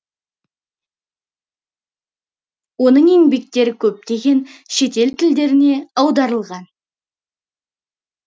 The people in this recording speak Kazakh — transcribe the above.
оның еңбектері көптеген шетел тілдеріне аударылған